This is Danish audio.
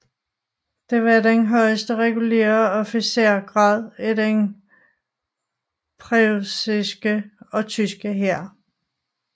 Det var den højeste regulære officersgrad i den preussiske og tyske hær